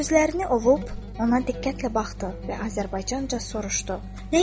Gözlərini ovub, ona diqqətlə baxdı və Azərbaycanca soruşdu.